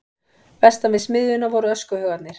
Vestan við smiðjuna voru öskuhaugarnir.